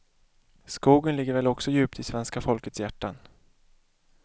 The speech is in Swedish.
Skogen ligger väl också djupt i svenska folkets hjärtan.